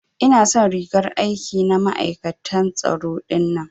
Ina son rigar aiki na ma'aikatan tsaro dinnan.